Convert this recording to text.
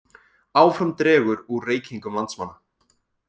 Áfram dregur úr reykingum landsmanna